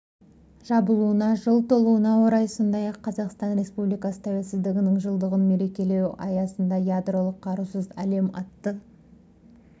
жабылуына жыл толуына орай сондай-ақ қазақстан республикасы тәуелсіздігінің жылдығын мерекелеу аясында ядролық қарусыз әлем атты